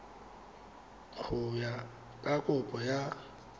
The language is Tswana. go ya ka kopo ya